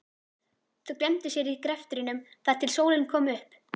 Þau gleymdu sér í greftrinum þar til sólin kom upp.